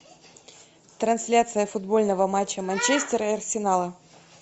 трансляция футбольного матча манчестера и арсенала